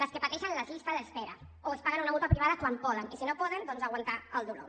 les que pateixen les llistes d’espera o es paguen una mútua privada quan poden i si no poden doncs a aguantar el dolor